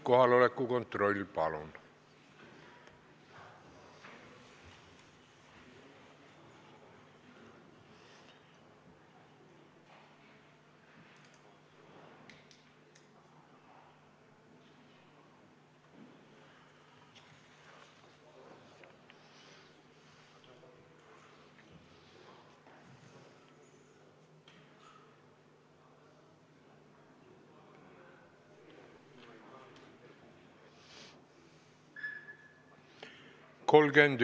Kohaloleku kontroll, palun!